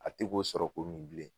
A ti k'o sɔrɔ ko min bilen